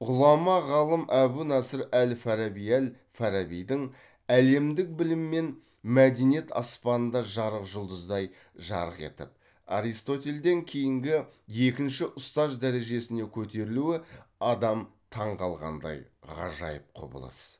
ғұлама ғалым әбу наср әл фараби әл фарабидің әлемдік білім мен мәдениет аспанында жарық жұлдыздай жарқ етіп аристотельден кейінгі екінші ұстаз дәрежесіне көтерілуі адам таң қалғандай ғажайып құбылыс